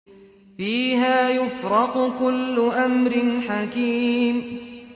فِيهَا يُفْرَقُ كُلُّ أَمْرٍ حَكِيمٍ